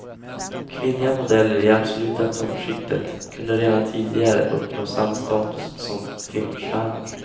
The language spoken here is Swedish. Kvinnliga modeller i det absoluta toppskiktet kunde redan tidigare uppnå samma status som filmstjärnor.